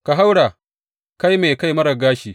Ka haura, kai mai kai marar gashi!